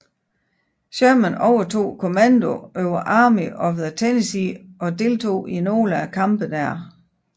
Sherman overtog kommandoen over Army of the Tennessee og deltog i nogle af kampene dér